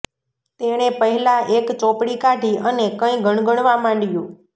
તેણે પહેલાં એક ચોપડી કાઢી અને કંઈ ગણગણવા માંડ્યું